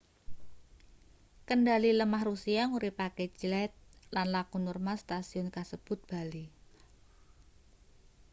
kendhali lemah rusia nguripake jet lan laku normal setasiyun kasebut bali